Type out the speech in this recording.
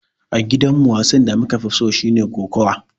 A gidan mu, wasan da muka fi so shine kokawa.